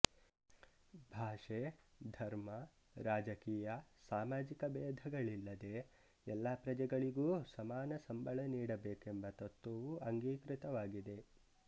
ಭಾಷೆ ಧರ್ಮ ರಾಜಕೀಯ ಸಾಮಾಜಿಕ ಬೇಧಗಳಿಲ್ಲದೆ ಎಲ್ಲ ಪ್ರಜೆಗಳಿಗೂ ಸಮಾನ ಸಂಬಳ ನೀಡಬೇಕೆಂಬ ತತ್ತ್ವವೂ ಅಂಗೀಕೃತವಾಗಿದೆ